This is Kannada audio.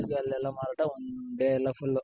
ಅಲ್ಲೆಲ್ಲ one day ಎಲ್ಲ full